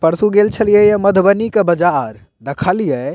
परसू गेल छलिए ये मधुबनी के बाजार देखलिये --